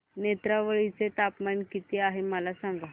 नेत्रावळी चे तापमान किती आहे मला सांगा